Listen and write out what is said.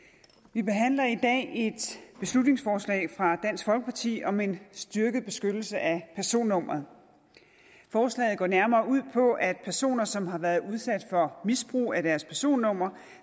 vi behandler i dag et beslutningsforslag fra dansk folkeparti om en styrket beskyttelse af personnummeret forslaget går nærmere ud på at personer som har været udsat for misbrug af deres personnummer